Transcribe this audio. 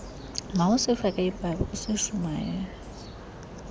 mawusifake ibible usishumayeze